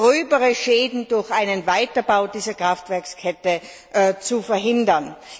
gröbere Schäden durch einen Weiterbau dieser Kraftwerkskette zu verhindern.